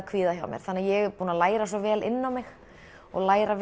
kvíða hjá mér þannig ég er búin að læra svo vel inn á mig og læra